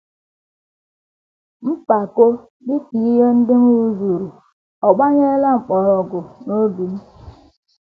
Mpako n’ihi ihe ndị m rụzuru ọ̀ gbanyela mkpọrọgwụ n’obi m?